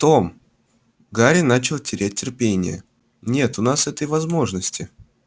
том гарри начал терять терпение нет у нас этой возможности